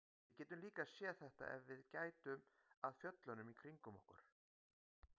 Við getum líka séð þetta ef við gætum að fjöllunum kringum okkur.